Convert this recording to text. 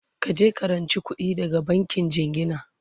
kaje ka ranci kuɗi daga bankin jingina!